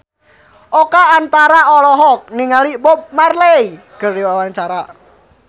Oka Antara olohok ningali Bob Marley keur diwawancara